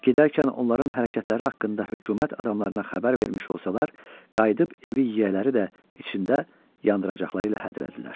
Gedərkən onların hərəkətləri haqqında hökumət adamlarına xəbər vermiş olsalar, qayıdıb evi yiyələri də içində yandıracaqları ilə hədələdilər.